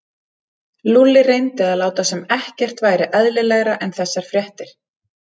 Lúlli reyndi að láta sem ekkert væri eðlilegra en þessar fréttir.